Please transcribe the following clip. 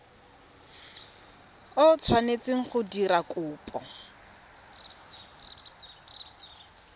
o tshwanetseng go dira kopo